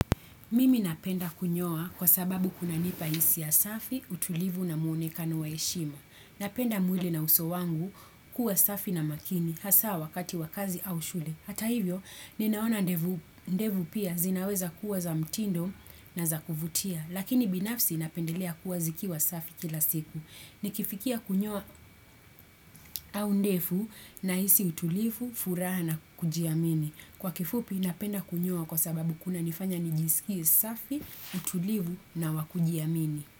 Mimi napenda kunyoa kwa sababu kuna nipa isi asafi, utulivu na muonekano wa heshima. Napenda mwili na uso wangu kuwa safi na makini, hasa wakati wakazi au shule. Hata hivyo, ninaona ndevu pia zinaweza kuwa za mtindo na za kuvutia, lakini binafsi napendelea kuwa zikiwa safi kila siku. Nikifikia kunyoa au ndevu nahisi utulivu, furaha na kujiamini. Kwa kifupi napenda kunyoa kwa sababu kuna nifanya nijiskie safi, utulivu na wakujiamini.